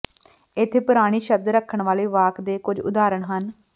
ਇੱਥੇ ਪੁਰਾਣੀ ਸ਼ਬਦ ਰੱਖਣ ਵਾਲੇ ਵਾਕ ਦੇ ਕੁਝ ਉਦਾਹਰਣ ਹਨ